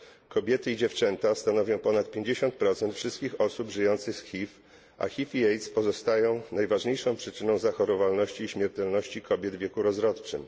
Kobiety i dziewczęta stanowią ponad 50 wszystkich osób żyjących z HIV, a HIV i AIDS pozostają najważniejszą przyczyną zachorowalności i śmiertelności kobiet w wieku rozrodczym.